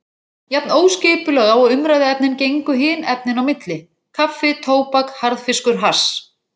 Norðmenn áttu aðild að sóttu síðar um innflutningsleyfi fyrir hrogn frá